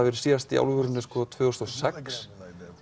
verið síðast í alvörunni tvö þúsund og sex